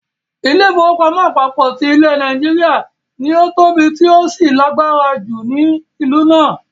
Ilé-ìfowópamọ́ àpapọ ti ilẹ̀ Nàìjíríà ” ni ó tóbi tí ó sì lágbára ju ni ìlú náà.